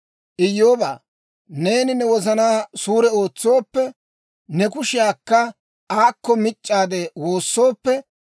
«Iyyoobaa, neeni ne wozanaa suure ootsooppe, ne kushiyaakka aakko mic'c'aade woossooppe,